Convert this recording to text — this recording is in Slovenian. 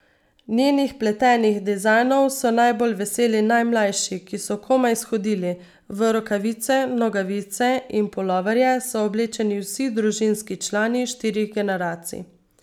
Njenih pletenih dizajnov so najbolj veseli najmlajši, ki so komaj shodili, v rokavice, nogavice in puloverje so oblečeni vsi družinski člani štirih generacij.